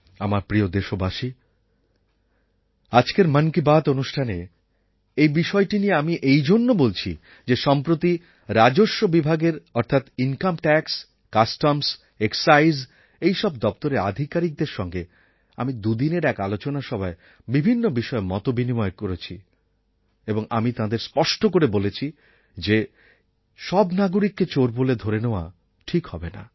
আমার প্রিয় দেশবাসী আজকের মন কি বাত অনুষ্ঠানে এই বিষয়টা নিয়ে আমি এই জন্য বলছি যে সম্প্রতি রাজস্ববিভাগের অর্থাৎ ইনকাম ট্যাক্স কাস্টমস্ এক্সাইজ এই সব দপ্তরের আধিকারিকদের সঙ্গে আমি দুদিনের এক আলোচনা সভায় বিভিন্ন বিষয়ে মত বিনিময় করেছি এবং আমি তাঁদের স্পষ্ট করে বলেছি যে সব নাগরিককে চোর বলে ধরে নেওয়া ঠিক হবে না